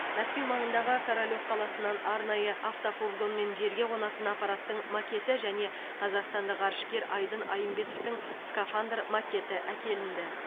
мәскеу маңындағы королев қаласынан арнайы автофургонмен жерге қонатын аппараттың макеті және қазақстандық ғарышкер айдын айымбетовтің скафандр макеті әкелінді